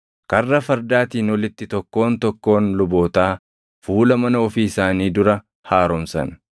Karra Fardaatiin olitti tokkoon tokkoon lubootaa fuula mana ofii isaanii dura haaromsan.